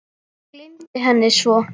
Gleymdi henni svo.